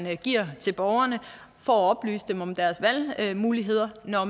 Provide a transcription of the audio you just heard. giver til borgerne for at oplyse dem om deres valgmuligheder når